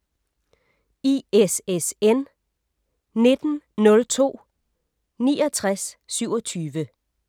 ISSN 1902-6927